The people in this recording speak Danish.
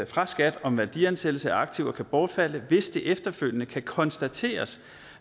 fra skat om værdiansættelse af aktiver kan bortfalde hvis det efterfølgende kan konstateres